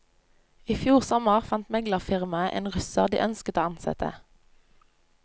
I fjor sommer fant meglerfirmaet en russer de ønsket å ansette.